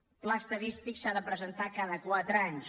el pla estadístic s’ha de presentar cada quatre anys